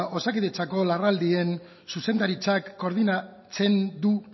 osakidetzako larrialdien zuzendaritzak koordinatzen du